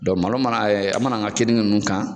Dɔ malo mana an mana an ka keninge ninnu kan.